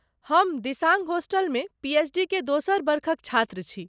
हम दिसांग होस्टलमे पीएचडी के दोसर बरखक छात्र छी।